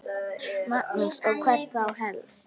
Magnús: Og hvert þá helst?